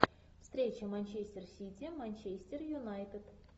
встреча манчестер сити манчестер юнайтед